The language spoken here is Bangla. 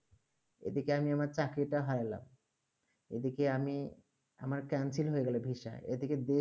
এদিকে আমি আমার চাকরি টা হারালাম এদিকে আমি আমার cancel হয়ে গেলো visa এই দিকে দেশ